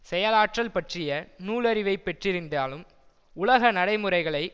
செயலாற்றல் பற்றிய நூலறிவைப் பெற்றிருந்தாலும் உலக நடைமுறைகளை